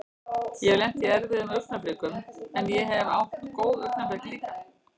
Ég hef lent í erfiðum augnablikum en ég hef átt góð augnablik líka.